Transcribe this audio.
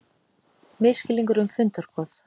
Misskilningur um fundarboð